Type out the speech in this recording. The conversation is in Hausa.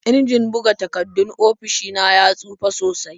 Injin buga takardun ofishi na ya tsufa sosai.